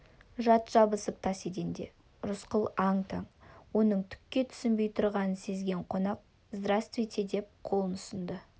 жат жабысып тас еденде рысқұл аң-таң оның түкке түсінбей тұрғанын сезген қонақ здравствуйте деп қолын ұсынды